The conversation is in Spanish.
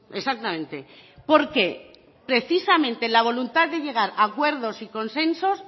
exactamente porque precisamente la voluntad de llegar acuerdos y consensos